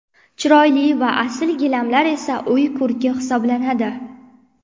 Chiroyli va asl gilamlar esa uy ko‘rki hisoblanadi.